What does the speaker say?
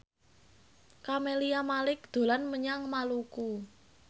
Camelia Malik dolan menyang Maluku